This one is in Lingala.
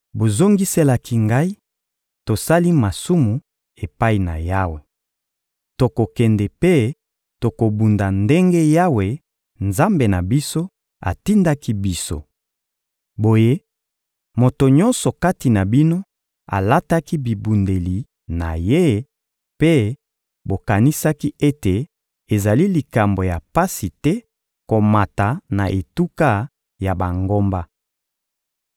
Bozongiselaki ngai: «Tosali masumu epai na Yawe. Tokokende mpe tokobunda ndenge Yawe, Nzambe na biso, atindaki biso.» Boye, moto nyonso kati na bino alataki bibundeli na ye, mpe bokanisaki ete ezali likambo ya pasi te komata na etuka ya bangomba.